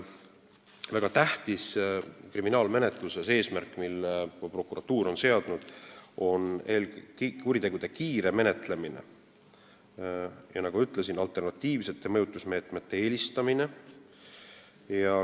Väga tähtis eesmärk kriminaalmenetluses, mille prokuratuur on seadnud, on kuritegude kiire menetlemine, ja nagu ma ütlesin, alternatiivsete mõjutusmeetmete eelistamine.